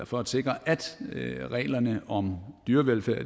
for at sikre at reglerne om dyrevelfærd